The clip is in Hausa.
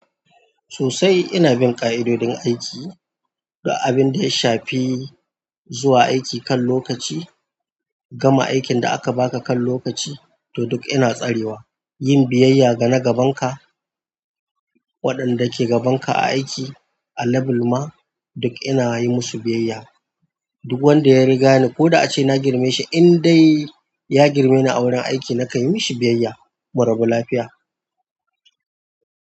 Sosai inabin ƙa'idojin aiki duk abinda ya shafi zuwa aiki kan lokaci, gama aikin da aka baka kan lokaci, to duk ina tsarewa. Yin biyayya gana gabanka waɗanda ke gabanka a aiki a level ma duk inayi musu biyayya. Duk wanda ya rigani koda ace na girme shi in dai ya girmeni a wurin aiki na kanyi mishi biyayya, murabu lafiya.